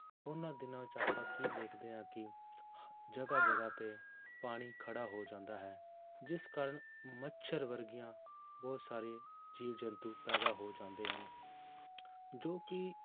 ਉਹਨਾਂ ਦਿਨਾਂ ਵਿੱਚ ਆਪਾਂ ਕੀ ਦੇਖਦੇ ਹਾਂ ਕਿ ਜਗ੍ਹਾ ਜਗ੍ਹਾ ਤੇ ਪਾਣੀ ਖੜਾ ਹੋ ਜਾਂਦਾ ਹੈ, ਜਿਸ ਕਾਰਨ ਮੱਛਰ ਵਰਗੀਆਂਂ ਬਹੁਤ ਸਾਰੇ ਜੀਵ ਜੰਤੂ ਪੈਦਾ ਹੋ ਜਾਂਦੇ ਹਨ ਜੋ ਕਿ